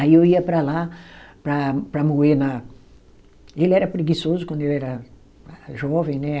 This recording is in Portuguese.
Aí eu ia para lá para para moer na. Ele era preguiçoso quando ele era jovem, né?